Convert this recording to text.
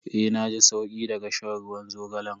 Eh na ji sauki daga shan ruwan zogalan.